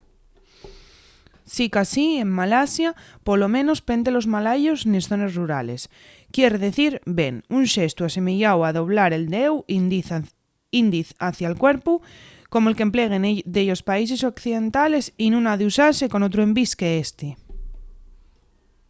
sicasí en malasia polo menos pente los malayos nes zones rurales quier dicir ven” un xestu asemeyáu a doblar el deu índiz hacia’l cuerpu como’l qu’empleguen dellos países occidentales y nun ha d’usase con otru envís qu’ésti